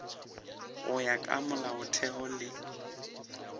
go ya ka molaotheo le